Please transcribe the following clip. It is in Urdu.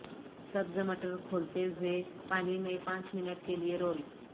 سبز مٹر کھولتے ہوئے پانی میں پانچ منٹ کے لئے رول